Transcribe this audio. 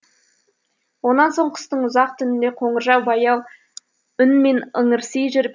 онан соң қыстың ұзақ түнінде қоңыржай баяу үнмен ыңырси жүр